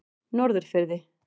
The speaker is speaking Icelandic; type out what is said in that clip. Norðurfirði